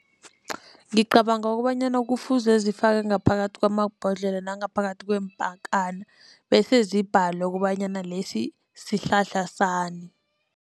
Ngicabanga kobanyana kufuze zifakwe ngaphakathi kwamabhodlela nangaphakathi kweempakana bese zibhalwe kobanyana lesi sihlahla sani.